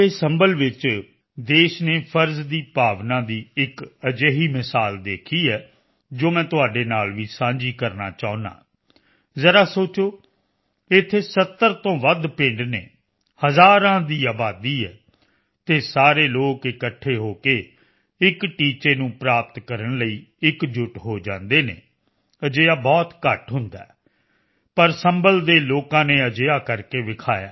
ਸੰਭਲ ਵਿੱਚ ਦੇਸ਼ ਨੇ ਫਰਜ਼ ਦੀ ਭਾਵਨਾ ਦੀ ਇੱਕ ਅਜਿਹੀ ਮਿਸਾਲ ਦੇਖੀ ਹੈ ਜੋ ਮੈਂ ਤੁਹਾਡੇ ਨਾਲ ਵੀ ਸਾਂਝੀ ਕਰਨਾ ਚਾਹੁੰਦਾ ਹਾਂ ਜ਼ਰਾ ਸੋਚੋ ਇੱਥੇ 70 ਤੋਂ ਵੱਧ ਪਿੰਡ ਹਨ ਹਜ਼ਾਰਾਂ ਦੀ ਆਬਾਦੀ ਹੈ ਅਤੇ ਸਾਰੇ ਲੋਕ ਇਕੱਠੇ ਹੋ ਕੇ ਇੱਕ ਟੀਚੇ ਨੂੰ ਪ੍ਰਾਪਤ ਕਰਨ ਲਈ ਇਕਜੁੱਟ ਹੋ ਜਾਂਦੇ ਹਨ ਅਜਿਹਾ ਬਹੁਤ ਘੱਟ ਹੁੰਦਾ ਹੈ ਪਰ ਸੰਭਲ ਦੇ ਲੋਕਾਂ ਨੇ ਅਜਿਹਾ ਕਰਕੇ ਵਿਖਾਇਆ